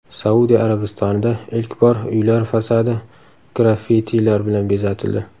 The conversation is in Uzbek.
Saudiya Arabistonida ilk bor uylar fasadi graffitilar bilan bezatildi.